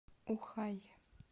ухай